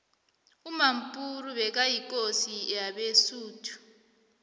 umampuru bekayikosi yabesuthu